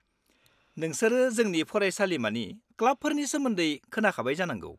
-नोंसोर जोंनि फरायसालिमानि क्लाबफोरनि सोमोन्दै खोनाखाबाय जानांगौ।